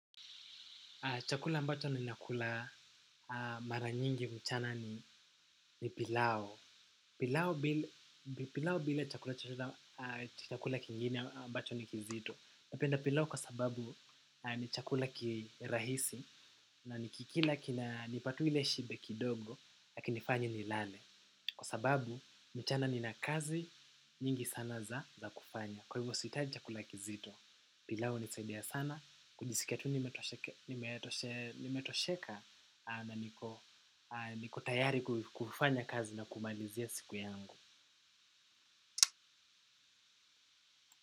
Chakula ambacho ninakula mara nyingi mchana ni pilau. Pilau bila chakula kingine ambacho ni kizito. Napenda pilau kwa sababu ni chakula kirahisi na nikikila kinanipa tu ile shibe kidogo hakinifanyi nilale. Kwa sababu mchana nina kazi nyingi sana za, za kufanya. Kwa hivyo sihitaji chakula kizito. Pilau hunisaidia sana, kujisikia tu nimetosheka na niko tayari kufanya kazi na kumalizia siku yangu.